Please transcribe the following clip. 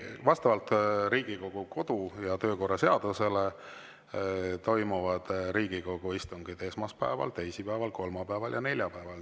Vastavalt Riigikogu kodu- ja töökorra seadusele toimuvad Riigikogu istungid esmaspäeval, teisipäeval, kolmapäeval ja neljapäeval.